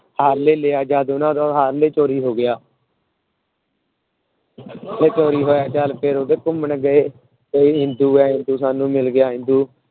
Harley ਲਿਆ ਜਦ ਉਹਨਾਂ ਦਾ ਹਾਰਲੇ ਚੋਰੀ ਹੋ ਗਿਆ। ਉਹ ਘੁੰਮਣ ਗਏ। ਇੰਦੂ ਐ ਇੰਦੂ ਸਾਂਨੂੰ ਮਿਲ ਗਿਆ ਇੰਦੂ